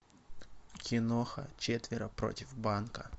киноха четверо против банка